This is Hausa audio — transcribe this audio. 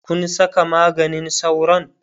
Kun Saka maganin sauron?